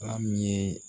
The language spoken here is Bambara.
Ba min ye